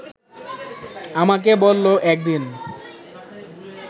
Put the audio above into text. আমাকে বলল একদিন